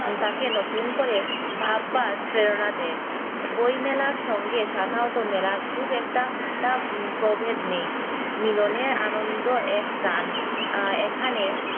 তাকে নতুন করে ভাববার প্রেরণা দেয় বই মেলার সঙ্গে সাধারণত মেলার খুব একটা প্রভেদ নেই মিলনের আনন্দ এক প্রাণ